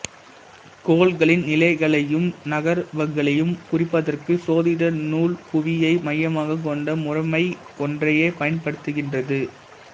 கோள்களின் நிலைகளையும் நகர்வுகளையும் குறிப்பதற்கு சோதிட நூல் புவியை மையமாகக் கொண்ட முறைமை ஒன்றையே பயன்படுத்துகின்றது